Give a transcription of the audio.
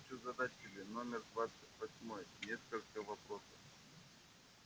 я хочу задать тебе номер двадцать восьмой несколько вопросов